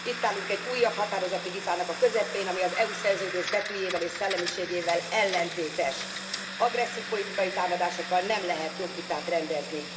Itt állunk egy újabb határozati vitának a közepén, ami az EU szerződés betűjével és szellemiségével ellentétes. Agresszív politikai támadásokkal nem lehet jogvitát rendezni.